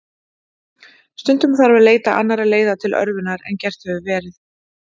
Stundum þarf að leita annarra leiða til örvunar en gert hefur verið.